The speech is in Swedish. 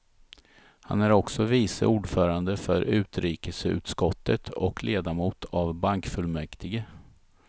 Han är också vice ordförande för utrikesutskottet och ledamot av bankfullmäktige.